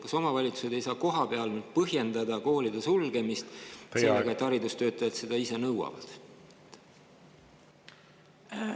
Kas omavalitsused ei saa kohapeal nüüd põhjendada koolide sulgemist sellega, et haridustöötajad seda ise nõuavad?